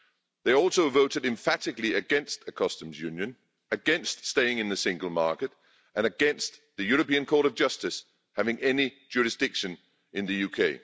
They also voted emphatically against the customs union, against staying in the single market and against the European Court of Justice having any jurisdiction in the UK.